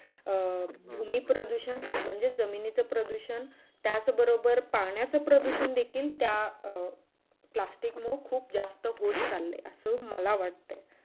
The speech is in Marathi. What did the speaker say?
अं भूमी प्रदुषण म्हणजे जमीनच प्रदुषण त्याच बरोबर पाण्याचं प्रदुषण त्या अं plastic खूप जास्त होत आहे असं मला वाटतं